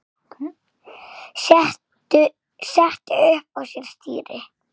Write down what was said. setti upp á sér stýri